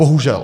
Bohužel.